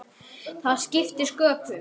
Það skiptir sköpum.